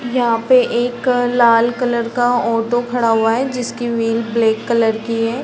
यहाँ पे एक लाल कलर का ऑटो खड़ा हुआ है जिसकी व्हील ब्लैक कलर की है।